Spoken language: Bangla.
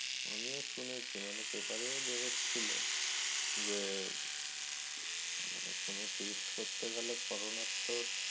আমিও শুনেছি, মানে paper ও বের হচ্ছিল। যে কোন test করতে গেলে করোনার তো